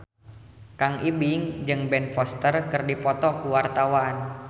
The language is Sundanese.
Kang Ibing jeung Ben Foster keur dipoto ku wartawan